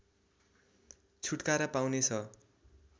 छुटकारा पाउने छ